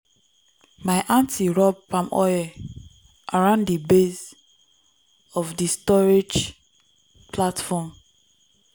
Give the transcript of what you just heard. my aunty rub palm oil around di base of di storage platform.